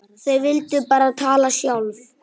Þau vildu bara tala sjálf.